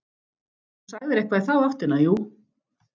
Þú sagðir eitthvað í þá áttina, jú.